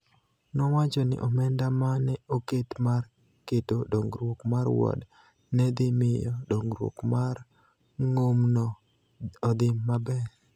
nowacho ni omenda ma ne oket mar keto dongruok mar Wuod ne dhi miyo dongruok mar ng�omno odhi maber.